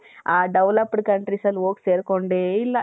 ಆ developed countriesಸಲ್ಲಿ ಹೋಗಿ ಸೇರ್ಕೊಂಡೆ ಇಲ್ಲ